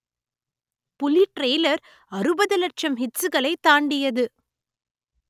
புலி ட்ரெய்லர் அறுபது லட்சம் ஹிட்ஸ்களை தாண்டியது